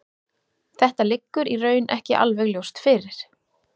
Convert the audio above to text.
Þetta liggur í raun ekki alveg ljóst fyrir.